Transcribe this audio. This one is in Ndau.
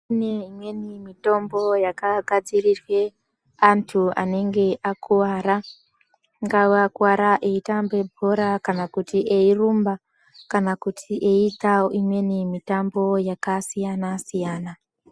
Kune imweni mitombo yakagadzirirwe antu vanenge vakakuvara. Angava vakuvara veitambe bhora kana kuti eirumba, kana kuti eiita imweni mitambo yakasiyana-siyana.